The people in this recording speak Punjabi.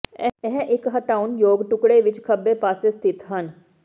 ਇਹ ਇੱਕ ਹਟਾਉਣ ਯੋਗ ਟੁਕੜੇ ਵਿੱਚ ਖੱਬੇ ਪਾਸੇ ਸਥਿਤ ਹਨ